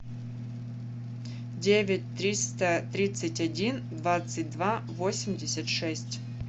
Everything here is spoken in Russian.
девять триста тридцать один двадцать два восемьдесят шесть